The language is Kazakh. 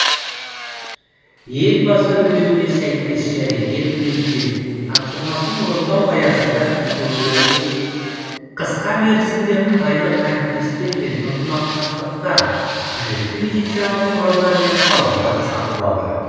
елбасы үндеуіне сәйкес және ел президентінің тапсырмасын орындау аясында біздің облыс қысқа мерзімде қытайлық әріптестермен ынтымақтастықта қажетті медициналық құралдар мен тауарлар сатып алды